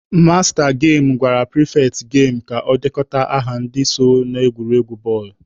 Masta gemụ gwara pịrịfetị gemu ka ọ dekọta aha ndị so n'egwuregwu bọọlụ.